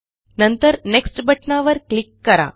नंतर नेक्स्ट बटणावर क्लिक करा